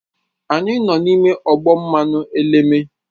Anyị nọ n'ime ọgbọ mmanụ eleme